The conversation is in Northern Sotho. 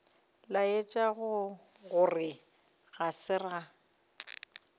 laetša gore ga se ka